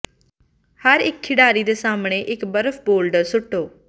ਹਰ ਇੱਕ ਖਿਡਾਰੀ ਦੇ ਸਾਹਮਣੇ ਇੱਕ ਬਰਫ਼ ਬੌਲਡਰ ਸੁੱਟੋ